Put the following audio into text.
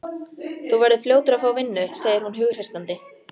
Þú verður fljótur að fá vinnu, segir hún hughreystandi.